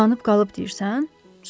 Uzanıb qalıb deyirsən?